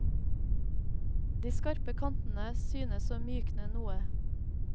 De skarpe kantene synes å mykne noe.